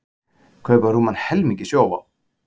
Kaupa rúman helming í Sjóvá